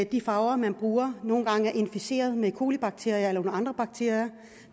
de farver man bruger nogle gange er inficeret med colibakterier eller nogle andre bakterier